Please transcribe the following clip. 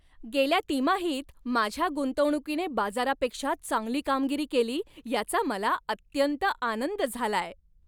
गेल्या तिमाहीत माझ्या गुंतवणुकीने बाजारापेक्षा चांगली कामगिरी केली याचा मला अत्यंत आनंद झालाय.